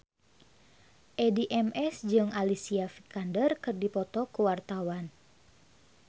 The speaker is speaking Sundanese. Addie MS jeung Alicia Vikander keur dipoto ku wartawan